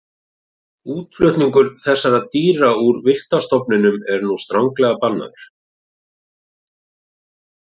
Útflutningur þessara dýra úr villta stofninum er nú stranglega bannaður.